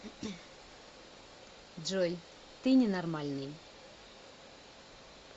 джой ты ненормальный